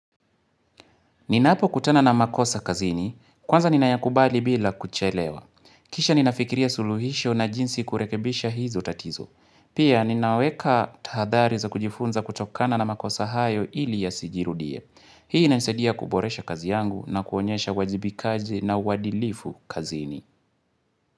Ninapokutana na makosa kazini, kwanza ninayakubali bila kuchelewa. Kisha ninafikiria suluhisho na jinsi kurekebisha hizo tatizo. Pia ninaweka tahadhari za kujifunza kutokana na makosa hayo ili yasijirudie. Hii inanisaidia kuboresha kazi yangu na kuonyesha wajibikaji na uadilifu kazini.